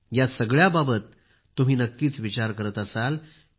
या सगळ्याबाबत तुम्ही नक्कीच विचार करत असाल